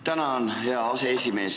Tänan, hea aseesimees!